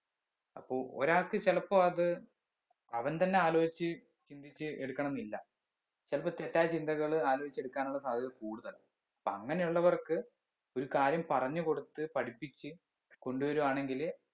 അപ്പൊ ഒരാൾക്ക് ചെലപ്പോ അത് അവൻ തന്നെ ആലോയിച്ച് ചിന്തിച്ച് എടുക്കണംന്നില്ല ചിലപ്പോ തെറ്റായ ചിന്തകള് ആലോചിച്ച് എടുക്കാനുള്ള സാദ്ധ്യത കൂടുതലാ അപ്പൊ അങ്ങനെ ഉള്ളവർക്ക് ഒരു കാര്യം പറഞ്ഞ് കൊടുത്ത് പഠിപ്പിച്ച് കൊണ്ടുവരുവാണെങ്കില്